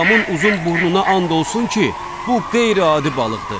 Babamın uzun burnuna and olsun ki, bu qeyri-adi balıqdır.